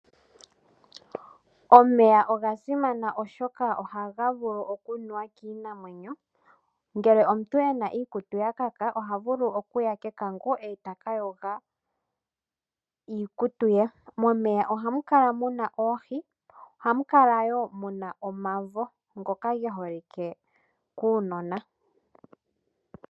Omeya oga simana oshoka ohaga vulu okunuwa kiinamwenyo ngele omuntu ena iikutu yakaka oha vulu okuya kekango ee taka yoga iikutu ye. Momeya ohamu kala muna oohi ohamu kala woo muna omavo ngoka geholike kuunona.